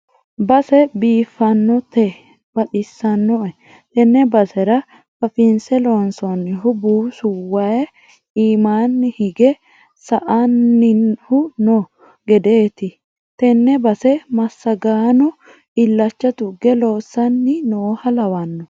Base biifanote baxisinoe tene basera fafinse loonsonnihu buusu waayi iimanni hinge sa'nannihu no gedeti tane base massagaano illacha tuge loossanni nooha lawano.